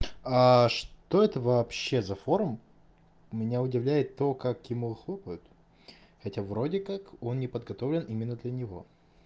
а что это вообще за форум меня удивляет то как ему хлопают хотя вроде как он не подготовлен именно для него